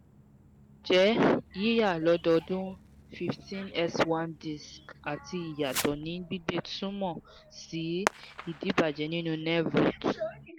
njẹ yiya lóódọ́dún fifteen s one disc ati iyato ni gbigbe tunmọ si idibajẹ ninu nerve root